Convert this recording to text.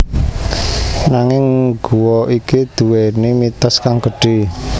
Nanging guwa iki duwéni mitos kang gedhè